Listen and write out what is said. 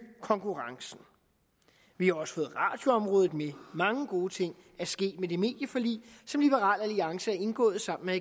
konkurrencen vi har også fået radioområdet med mange gode ting er sket med det medieforlig som liberal alliance har indgået sammen med